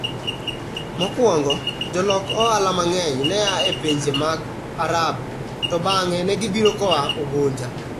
Mokwongo, jolok ohala mang'eny ne a e pinje mag Arabu, to bang'e ne gibiro koa Unguja.